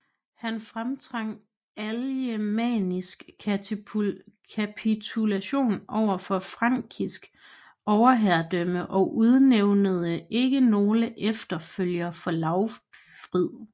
Han fremtvang alemannisk kapitulation overfor frankisk overherredømme og udnævnede ikke nogen efterfølger for Lautfrid